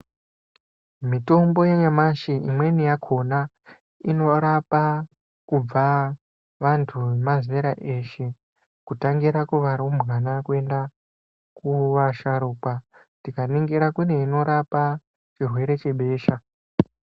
Mitombo ye nyamashi imweni yakona inorapa kubva vantu ve mazera eshe kutangira kuva rumbwana kuenda ku vasharukwa tika ningira kune inorapa chirwere chebesha.